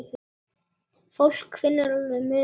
Fólk finnur alveg muninn.